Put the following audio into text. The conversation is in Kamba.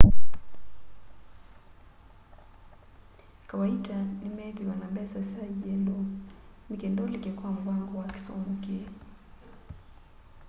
kawaita nimeithwa na mbesa sya ielo nikenda ulike kwa muvango wa kisomo kii